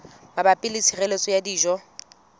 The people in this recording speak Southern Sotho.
mabapi le tshireletso ya dijo